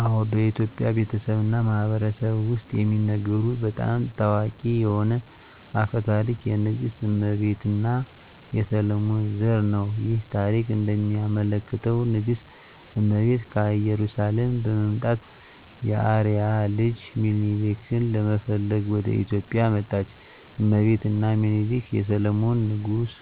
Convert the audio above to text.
አዎ፣ በኢትዮጵያ ቤተሰብ እና ማህበረሰብ ውስጥ የሚነገሩ በጣም ታዋቂ የሆነ አፈ ታሪክ የንግሥት እመቤት እና የሰሎሞን ዘር ነው። ይህ ታሪክ እንደሚያመለክተው ንግሥት እመቤት ከኢየሩሳሌም በመምጣት የአርአያ ልጅ ሚኒሊክን ለመፈለግ ወደ ኢትዮጵያ መጣች። እመቤት እና ሚኒሊክ የሰሎሞን ንጉሥ